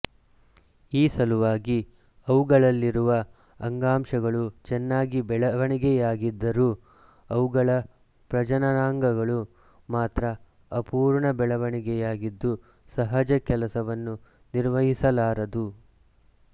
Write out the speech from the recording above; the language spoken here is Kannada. ಈ ಸಲುವಾಗಿ ಅವುಗಳಲ್ಲಿರುವ ಅಂಗಾಂಗಗಳು ಚೆನ್ನಾಗಿ ಬೆಳವಣಿಗೆಯಾಗಿದ್ದರೂ ಅವುಗಳ ಪ್ರಜನನಾಂಗವು ಮಾತ್ರ ಅಪೂರ್ಣ ಬೆಳವಣಿಗೆಯಾಗಿದ್ದು ಸಹಜ ಕೆಲಸವನ್ನು ನಿರ್ವಹಿಸಲಾರದು